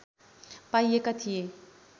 पाइएका थिए